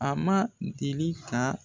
A man deli ka